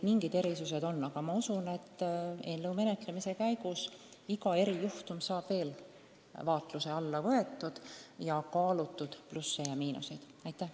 Aga usun, et eelnõu menetlemise käigus saavad igasugused erijuhtumid veel vaatluse alla võetud ning plussid ja miinused kaalutud.